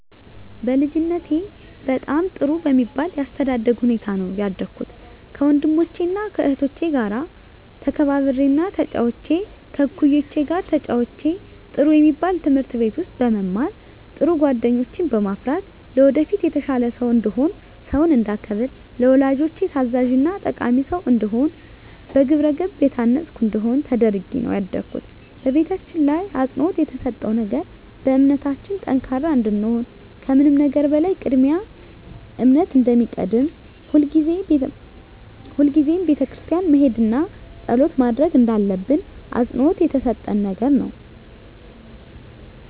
በልጅነቴ በጣም ጥሩ በሚባል የአስተዳደግ ሁኔታ ነው ያደኩት ከወንድሞቸና ከእህቶቸ ጋር ተከባብሬና ተጫውቼ ከእኩዮቼ ጋር ተጫውቼ ጥሩ የሚባል ትምህርት ቤት ውስጥ በመማር ጥሩ ጓደኞችን በማፍራት ለወደፊት የተሻለ ሰው እንድሆን ሰውን እንዳከብር ለወላጆቼ ታዛዥና ጠቃሚ ሰው እንድሆን በግብረገብ የታነፅኩ እንድሆን ተደርጌ ነው ያደኩት በቤታችን ላይ አፅንዖት የተሰጠው ነገር በእምነታችን ጠንካራ እንድንሆን ከምንም ነገር በላይ ቅድሚያ እምነት እንደሚቀድም ሁልጊዜም ቤተክርስቲያን መሄድና ፀሎት ማድረግ እንዳለብን አፅንዖት የተሰጠን ነገር ነው።